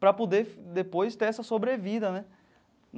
Para poder depois ter essa sobrevida, né?